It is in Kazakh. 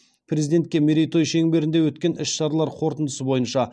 президентке мерейтой шеңберінде өткен іс шаралар қорытындысы бойынша